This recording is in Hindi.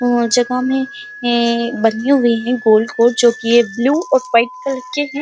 जोकि ये ब्लू और व्हाइट कलर के हैं।